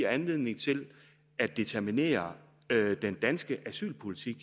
anledning til at determinere den danske asylpolitik